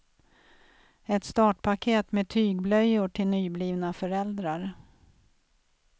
Ett startpaket med tygblöjor till nyblivna föräldrar.